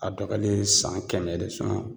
A dɔgɔyalen ye san kɛmɛ de